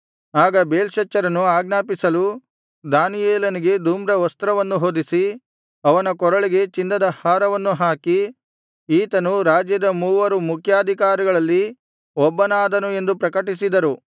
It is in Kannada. ಆಗ ಬೇಲ್ಶಚ್ಚರನು ಆಜ್ಞಾಪಿಸಲು ದಾನಿಯೇಲನಿಗೆ ಧೂಮ್ರವಸ್ತ್ರವನ್ನು ಹೊದಿಸಿ ಅವನ ಕೊರಳಿಗೆ ಚಿನ್ನದ ಹಾರವನ್ನು ಹಾಕಿ ಈತನು ರಾಜ್ಯದ ಮೂವರು ಮುಖ್ಯಾಧಿಕಾರಿಗಳಲ್ಲಿ ಒಬ್ಬನಾದನು ಎಂದು ಪ್ರಕಟಿಸಿದರು